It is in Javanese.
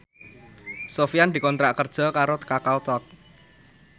Sofyan dikontrak kerja karo Kakao Talk